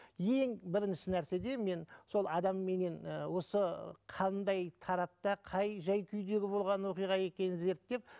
ең бірінші нәрседе мен сол адамменен ы осы қандай тарапта қай жай күйдегі болған оқиға екенін зерттеп